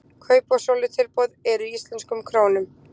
kaup og sölutilboð eru í íslenskum krónum